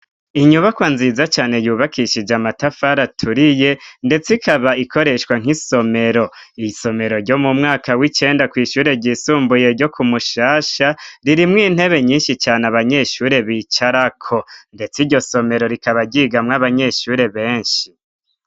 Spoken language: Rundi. Inyubakwa nziza cane yubakishije amatafar aturiye, ndetse ikaba ikoreshwa nk'isomero. Iri somero ryo mu mwaka w'icenda kw'ishure ry'isumbuye ryo ku Mushasha, ririmwo intebe nyinshi cane abanyeshuri bicarako, ndetse iryo somero rikaba ryigamwo abanyeshure benshi.